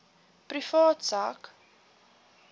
privaat sak